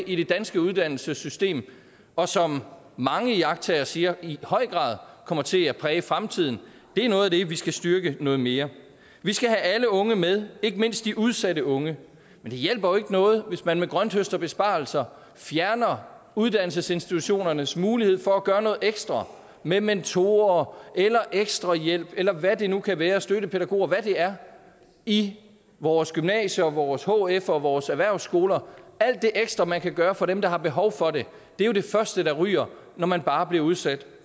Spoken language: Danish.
i det danske uddannelsessystem og som mange iagttagere siger i høj grad kommer til at præge fremtiden det er noget af det vi skal styrke noget mere vi skal have alle unge med ikke mindst de udsatte unge men hjælper jo ikke noget hvis man med grønthøsterbesparelser fjerner uddannelsesinstitutionernes mulighed for at gøre noget ekstra med mentorer eller ekstra hjælp eller hvad det nu kan være støttepædagoger hvad det er i vores gymnasier vores hf og vores erhvervsskoler alt det ekstra man kan gøre for dem der har behov for det er det første der ryger når man bare bliver udsat